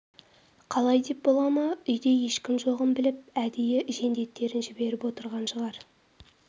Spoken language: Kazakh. қалай деп бола ма үйде ешкім жоғын біліп әдейі жендеттерін жіберіп отырған шығар